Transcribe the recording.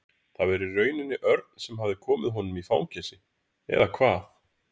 Það var í rauninni Örn sem hafði komið honum í fangelsi eða hvað?